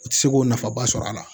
U tɛ se k'o nafaba sɔrɔ a la